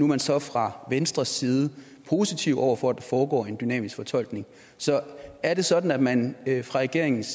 man så fra venstres side positiv over for at der foregår en dynamisk fortolkning er det sådan at man fra regeringens